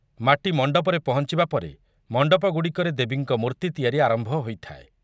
ମାଟି ମଣ୍ଡପରେ ପହଞ୍ଚୁବା ପରେ ମଣ୍ଡପଗୁଡ଼ିକରେ ଦେବୀଙ୍କ ମୂର୍ତ୍ତି ତିଆରି ଆରମ୍ଭ ହୋଇଥାଏ ।